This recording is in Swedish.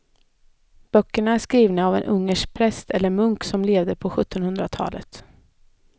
Böckerna är skrivna av en ungersk präst eller munk som levde på sjuttonhundratalet.